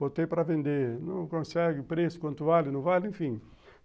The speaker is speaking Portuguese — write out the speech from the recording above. Botei para vender, não consegue preço, quanto vale, não vale, enfim.